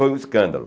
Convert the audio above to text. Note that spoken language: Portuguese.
Foi um escândalo.